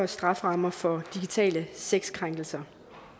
strafferammer for digitale sexkrænkelser